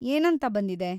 ಏನಂತ ಬಂದಿದೆ?